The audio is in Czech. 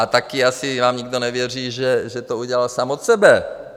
A taky asi vám nikdo nevěří, že to udělal sám od sebe.